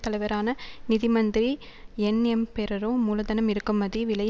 தலைவரான நிதி மந்திரி என்எம்பெரரோ மூலதனம் இறக்குமதி விலை